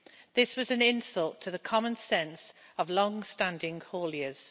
This was an insult to the common sense of long-standing hauliers.